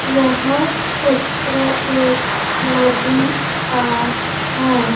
यह चित्र एक नदी का हैं।